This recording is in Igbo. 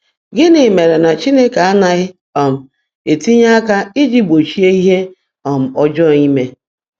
Gịnị mere na Chineke anaghị um etinye aka iji gbochie ihe um ọjọọ ime?